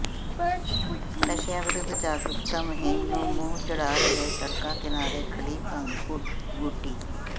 ਨਸ਼ਿਆਂ ਵਿਰੁੱਧ ਜਾਗਰੂਕਤਾ ਮੁਹਿੰਮ ਨੂੰ ਮੂੰਹ ਚਿੜ੍ਹਾ ਰਹੇ ਸੜਕਾਂ ਕਿਨਾਰੇ ਖੜੀ ਭੰਗ ਬੂਟੀ